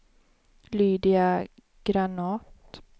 Lydia Granath